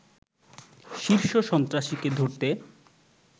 শীর্ষ সন্ত্রাসীকে ধরতে